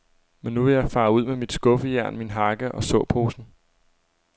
Men nu vil jeg fare ud med mit skuffejern, min hakke og såposen.